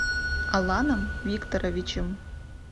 аланом викторовичем